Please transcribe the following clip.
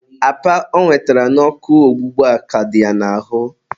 apa ọ nwetara n'ọkụ ọgbụgba ka dị ya n'ahụ.